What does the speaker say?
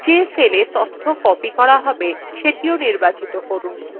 যে cells তথ্য copy করা হবে সেটিও নির্বাচিন করুন